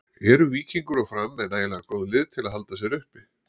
Eru Víkingur og Fram með nægilega góð lið til að halda sér uppi?